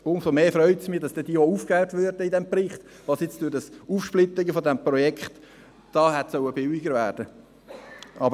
Umso mehr freut es mich, dass dann im Bericht auch aufgeführt wird, was durch das Aufsplittern des Projekts hätte billiger werden sollen.